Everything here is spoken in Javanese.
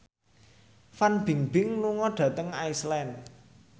Fan Bingbing lunga dhateng Iceland